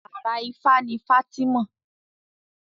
Àrà ifá ní fátìmọ